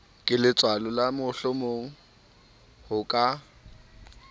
keletswalo la horemohlomong o ka